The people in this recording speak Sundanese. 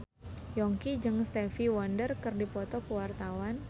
Yongki jeung Stevie Wonder keur dipoto ku wartawan